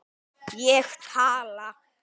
Ég tala.